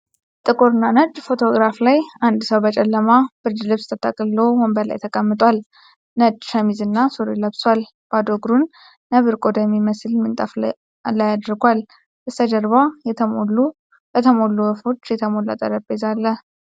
ጥቁርና ነጭ ፎቶግራፍ ላይ አንድ ሰው በጨለማ ብርድ ልብስ ተጠቅልሎ ወንበር ላይ ተቀምጧል። ነጭ ሸሚዝና ሱሪ ለብሷል፣ ባዶ እግሩን ነብር ቆዳ የሚመስል ምንጣፍ ላይ አርጓል። በስተጀርባ በተሞሉ ወፎች የተሞላ ጠረጴዛ አለ።